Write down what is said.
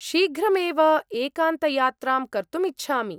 शीघ्रमेव एकान्तयात्रां कर्तुम् इच्छामि।